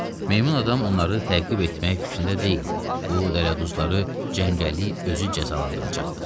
Meymun adam onları təqib etmək fikrində deyildi, bu dələduzları cəngəllik özü cəzalandıracaqdı.